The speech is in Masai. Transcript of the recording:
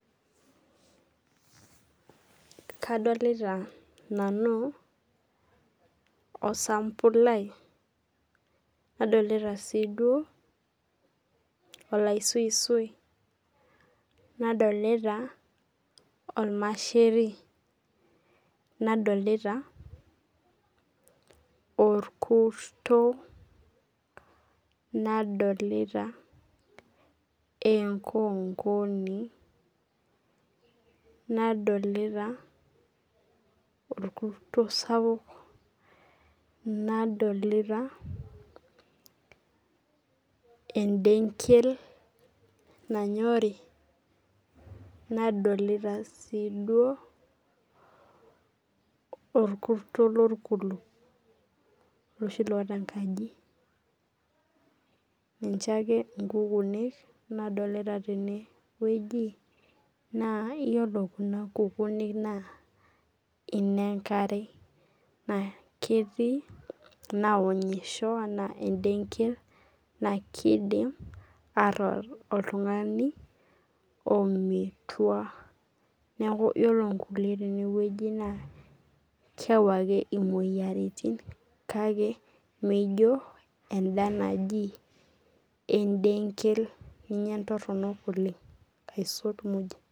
Kadolta nanu osambulai nadolta siduo olaisuisui nadolta ormasheri nadolta oekurto nadolta enkonkoni nadolta orkurto sapuk nadolta endenkel nanyori nadolta si duo orkurto lorkulkul olosho oota enkaji ninche ake nkukunik nadolta tenewueji naiyiolo kuna kukunik na inenkare naketii naonyieho ana emdenkel na kidim atooony oltungani ometua neaku ore nkulie tenewueji na keyau moyiaritin kake mijo enda naji endenkel amu ninye entoronok pii aisul.